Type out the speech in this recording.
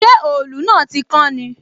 Ṣé òòlù náà tí kán ni?